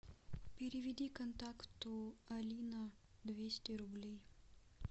переведи контакту алина двести рублей